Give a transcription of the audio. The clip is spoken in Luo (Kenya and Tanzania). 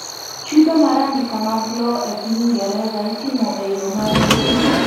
chudo mar andika mag lowo e piny ingereza itimo e yoo mar mbui